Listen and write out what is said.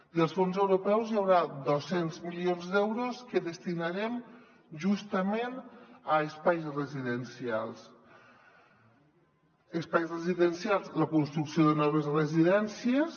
dels fons europeus hi haurà dos cents milions d’euros que destinarem justament a espais residencials a la construcció de noves residències